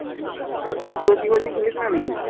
COC bar কি খুলেছে না নাকি?